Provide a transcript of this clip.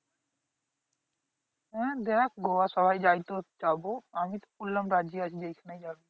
হ্যাঁ দেখ গোয়া সবাই যাই তো যাবো আমি তো বললাম রাজি আছি যেখানেই যাবি